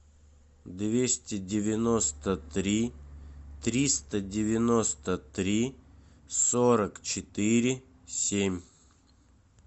двести девяносто три триста девяносто три сорок четыре семь